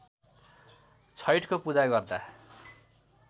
छैठको पूजा गर्दा